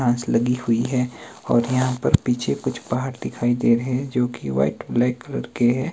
घास लगी हुई हैं और यहाँ पर पीछे कुछ पहाड़ दिखाई दे रहें हैं जो की व्हाइट ब्लैक कलर के हैं।